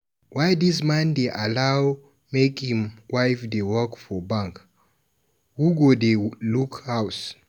why dis man dey allow make im woman dey work for bank, who go dey look house.